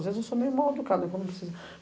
Às vezes eu sou meio mal-educada.